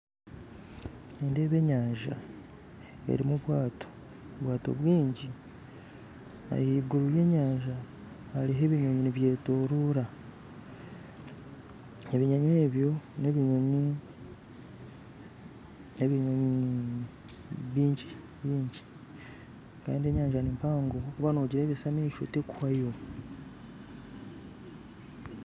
Nindeeba enyanja erimu amaato amaato maingi ahaiguru y'enyanja hariho ebinyonyi nibyetooroora, ebinyonyi ebyo n'ebinyonyi ebinyonyi bingi bingi kandi enyanja ni mpango waaba noogirebesa amaisho terikuhwayo.